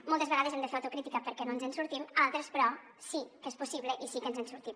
moltes vegades hem de fer autocrítica perquè no ens en sortim altres però sí que és possible i sí que ens en sortim